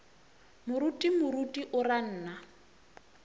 moruti moruti o ra nna